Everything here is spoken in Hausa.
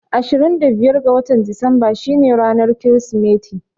Ashirin da biyar ga watan Disamba shi ne ranar Kirismeti